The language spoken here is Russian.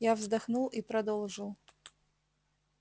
я вздохнул и продолжил